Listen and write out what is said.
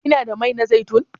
Kina da mai na zaitun?